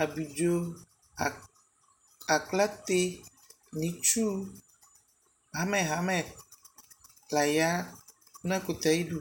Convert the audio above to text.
abidzɔ, aklatɛ nʋ itsʋ hamɛ hamɛ laya nʋ ɛkʋtɛ ayidʋ